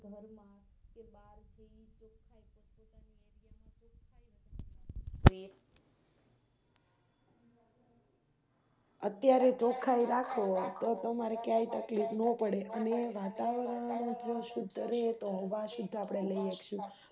અત્યારે તો ચોખ્ખાઈ રાખોતો તમારે ક્યાય તકલીફ નપડે અને વાતાવરણએકદમ સુધરે તો હવા સુધ આપણે લઈ હકીએ